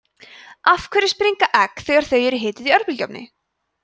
af hverju springa egg þegar þau eru hituð í örbylgjuofni